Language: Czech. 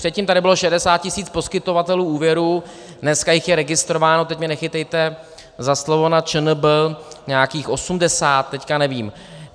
Předtím tady bylo 60 tisíc poskytovatelů úvěrů, dneska jich je registrováno, teď mě nechytejte za slovo, na ČNB nějakých osmdesát, teď nevím.